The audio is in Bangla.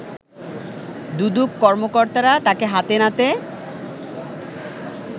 দুদক কর্মকর্তারা তাকে হাতে নাতে